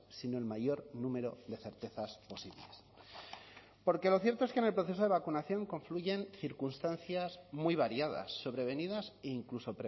sino el mayor número de certezas posibles porque lo cierto es que en el proceso de vacunación confluyen circunstancias muy variadas sobrevenidas e incluso